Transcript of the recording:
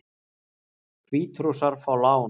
Hvítrússar fá lán